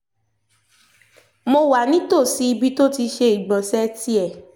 mo wà nítòsí ibi tó ti ṣe ìgbọ̀nsẹ̀ tiẹ̀